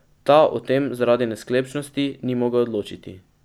Ta o tem zaradi nesklepčnosti ni mogel odločiti.